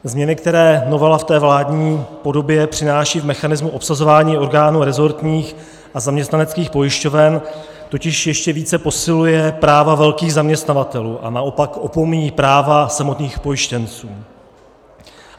Změny, které novela v té vládní podobě přináší v mechanismu obsazování orgánů rezortních a zaměstnaneckých pojišťoven, totiž ještě více posilují práva velkých zaměstnavatelů, a naopak opomíjejí práva samotných pojištěnců.